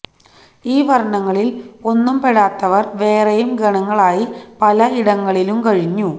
ഈ വര്ണ്ണങ്ങളില് ഒന്നും പെടാത്തവര് വേറെയും ഗണങ്ങളായി പല ഇടങ്ങളിലും കഴിഞ്ഞു